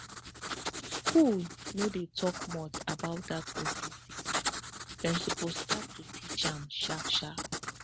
school no dey talk much about that ovary sickness dem suppose start to teach am sharp sharp